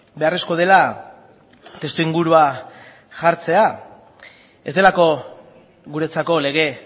beharrezkoa dela testuingurua jartzea ez delako guretzako lege